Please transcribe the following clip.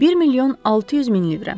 1 milyon 600 min lirə.